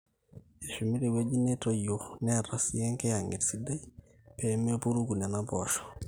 eshumi tewueji netoyio neeta sii enkiyang'et sidai pee mepuruku nena poosho